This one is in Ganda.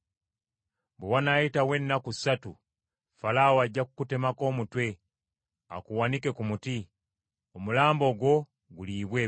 bwe wanaayitawo ennaku ssatu Falaawo ajja kukutemako omutwe, akuwanike ku muti, omulambo gwo guliibwe ebinyonyi.”